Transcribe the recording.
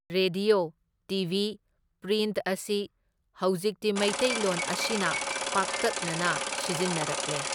Radio TV print ꯑꯁꯤ ꯍꯧꯖꯤꯛꯇꯤ ꯃꯩꯇꯩꯂꯣꯟ ꯑꯁꯤꯅ ꯄꯥꯛꯇꯛꯅꯅ ꯁꯤꯖꯤꯟꯅꯔꯛꯂꯦ꯫